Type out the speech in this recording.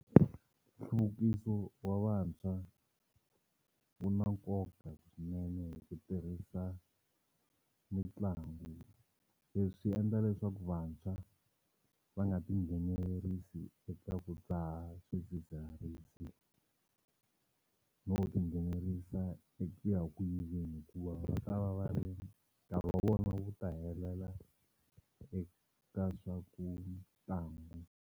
Nhluvukiso wa vantshwa wu na nkoka swinene hi ku tirhisa mitlangu leswi endla leswaku vantshwa va nga tinghenelerisi eka ku dzaha swidzidziharisi no ti nghenelerisa eku ya ku yiveni hikuva va ta va va ri nkarhi wa vona wu ta helela eka swa ku ntlangu.